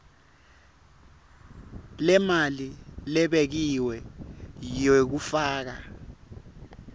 lemali lebekiwe yekufaka